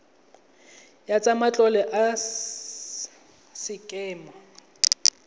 ya tsa matlole ya sekema